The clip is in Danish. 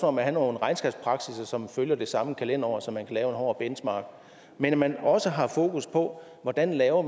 om at have nogle regnskabspraksisser som følger det samme kalenderår så man kan lave en hård benchmarking men at man også har fokus på hvordan man laver